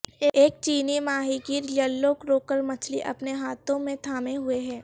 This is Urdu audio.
ایک چینی ماہی گیر یلو کروکر مچھلی اپنے ہاتھوں میں تھامے ہوئے ہے